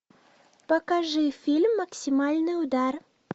покажи фильм максимальный удар